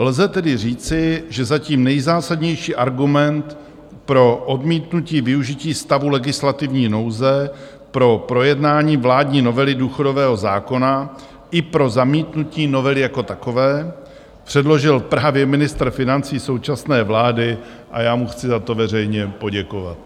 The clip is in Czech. Lze tedy říci, že zatím nejzásadnější argument pro odmítnutí využití stavu legislativní nouze pro projednání vládní novely důchodového zákona i pro zamítnutí novely jako takové předložil právě ministr financí současné vlády, a já mu chci za to veřejně poděkovat.